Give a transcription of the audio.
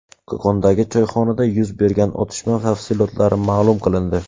Qo‘qondagi choyxonada yuz bergan otishma tafsilotlari ma’lum qilindi.